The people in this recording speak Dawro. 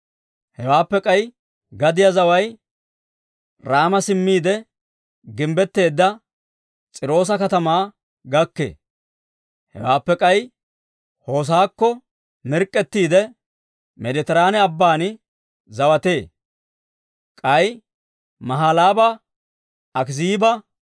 Hewaappe k'ay gadiyaa zaway Raama simmiide, gimbbetteedda S'iiroosa katamaa gakkee. Hewaappe k'ay Hoosakko mirk'k'ettiide, Meeditiraane Abban zawatee. K'ay Mahalaaba, Akiziiba,